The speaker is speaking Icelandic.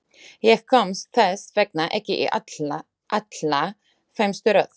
Ég komst þess vegna ekki í allra fremstu röð.